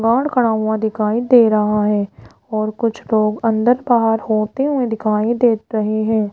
बाहर खड़ा हुआ दिखाई दे रहा है और कुछ लोग अंदर बाहर होते हुए दिखाई दे रहे हैं।